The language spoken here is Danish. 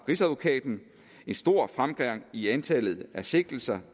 rigsadvokaten en stor fremgang i antallet af sigtelser